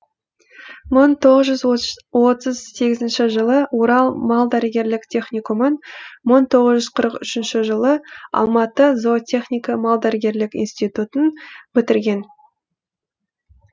мың тоғыз жүз отыз сегізінші жылы орал мал дәрігерлік техникумын мың тоғыз жүз қырық үшінші жылы алматы зоотехника малдәрігерлік институттын бітірген